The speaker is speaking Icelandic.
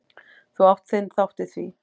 Þú átt þinn þátt í því.